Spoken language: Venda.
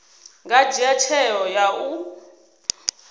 nga dzhia tsheo ya u